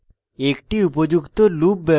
একটি উপযুক্ত লুপ